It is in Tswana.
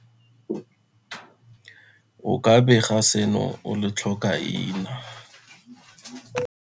O ka bega seno o le tlhokaina.